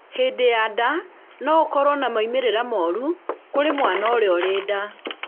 hĩndĩ ya nda no ũkorwo na maũmĩrĩra moru kũrĩ mwana ũrĩa ũrĩ nda